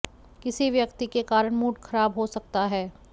किसी व्यक्ति के कारण मूड खराब हो सकता है